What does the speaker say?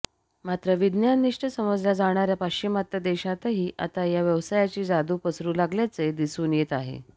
मात्र विज्ञाननिष्ठ समजल्या जाणार्या पाश्चिमात्य देशांतही आता या व्यवसायाची जादू पसरू लागल्याचे दिसून येत आहे